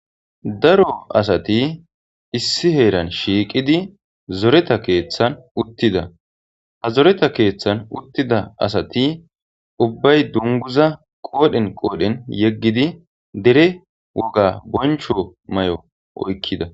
daro asati issi heeran shiiqidi zoreta keeththan uttida ha zoreta keeththan uttida asati ubbay dunguza qoodhen qoodhen yeggidi dere woga boncho may7o oykkida